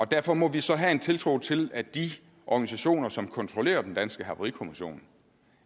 derfor må vi så have en tiltro til at de organisationer som kontrollerer den danske havarikommission